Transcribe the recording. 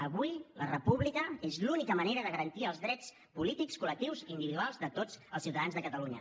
avui la república és l’única manera de garantir els drets polítics col·lectius i individuals de tots els ciutadans de catalunya